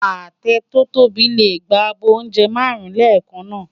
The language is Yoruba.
Atẹ tò tóbi lé gbá ábò óùnjè márùn lèkán ṣóṣó